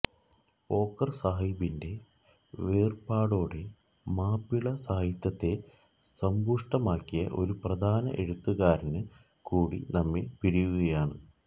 പോക്കര് സാഹിബിന്റെ വേര്പാടോടെ മാപ്പിളസാഹിത്യത്തെ സമ്പുഷ്ടമാക്കിയ ഒരു പ്രധാന എഴുത്തുകാരന് കൂടി നമ്മെ പിരിയുകയാണ്